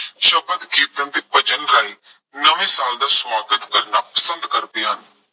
ਸ਼ਬਦ ਕੀਰਤਨ, ਭਜਨ ਗਾਇਨ, ਨਵੇਂ ਸਾਲ ਦਾ ਸਵਾਗਤ ਕਰਨਾ ਪਸੰਦ ਕਰਦੇ ਹਨ।